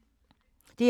DR2